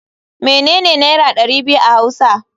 Menene naira dari biyu a hausa.